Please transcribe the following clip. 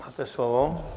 Máte slovo.